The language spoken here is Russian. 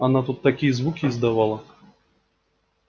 она тут такие звуки издавала